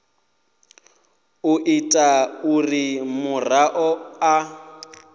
u ita uri muraḓo a